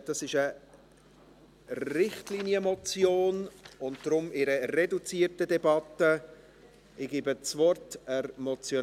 Es ist eine Richtlinienmotion, deshalb findet eine reduzierte Debatte statt.